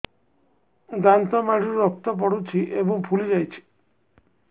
ଦାନ୍ତ ମାଢ଼ିରୁ ରକ୍ତ ପଡୁଛୁ ଏବଂ ଫୁଲି ଯାଇଛି